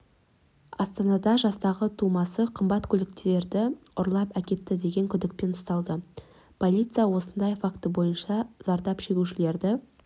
астанада жастағы тумасы қымбат автокөліктерді ұрлап әкетті деген күдікпен ұсталды полиция осындай факті бойынша зардап шегушілерді